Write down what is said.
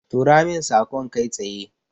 Tura min saƙon kai tsaye.